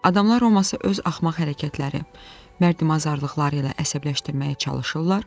Adamlar Roması öz axmaq hərəkətləri, mərdimazarlıqları ilə əsəbləşdirməyə çalışırdılar.